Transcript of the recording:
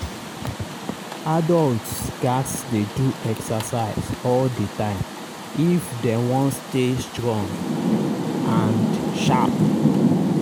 adults gats dey do exercise all the time if dem wan stay strong and sharp.